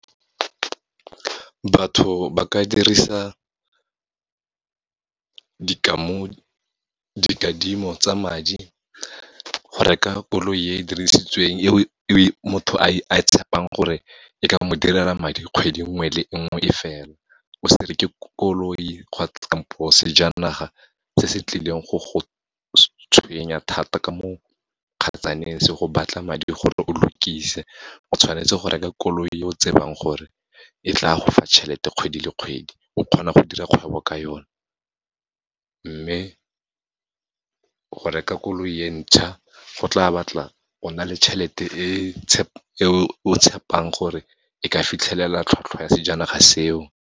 Batho ba ka dirisa dikadimo tsa madi, go reka koloi e dirisitsweng e motho a e tshepang gore e ka mo direla madi kgwedi nngwe le nngwe e fela, o se reke koloi kampo sejanaga se se tlileng go go tshwenya thata ka mo kgetsaneng, se go batla madi gore o lokise. O tshwanetse go reka koloi yo o tsebang gore e tla go fa tšhelete kgwedi le kgwedi, o kgona go dira kgwebo ka yone. Mme, go reka koloi e ntšha, go tla batla o na le tjhelete e o tshepang gore e ka fitlhelela tlhotlhwa ya sejanaga seo.